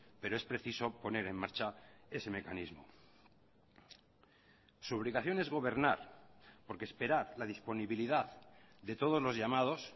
pero es preciso poner en marcha ese mecanismo su obligación es gobernar porque esperar la disponibilidad de todos los llamados